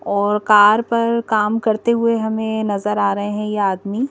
और कार पर काम करते हुए हमें नजर आ रहे हैं ये आदमी--